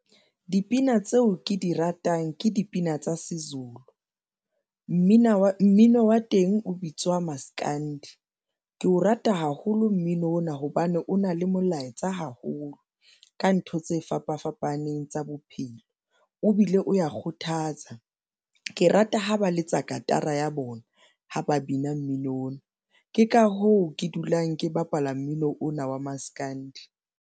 Dipina tseo ke di ratang ke dipina tsa siZulu. Mmino wa teng o bitswa maskandi, ke o rata haholo mmino ona hobane o na le molaetsa haholo ka ntho tse fapa fapaneng tsa bophelo o bile o ya kgothatsa. Ke rata ha ba letsa katara ya bona ha ba bina mmino ona. Ke ka hoo ke dulang ke bapala mmino ona wa maskandi.